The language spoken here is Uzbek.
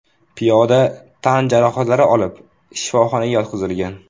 Piyoda tan jarohatlari olib shifoxonaga yotqizilgan.